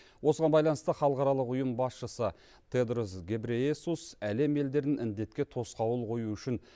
осыған байланысты халықаралық ұйым басшысы тедрос гебрейесус әлем елдерін індетке тосқауыл қою үшін